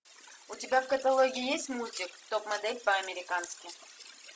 у тебя в каталоге есть мультик топ модель по американски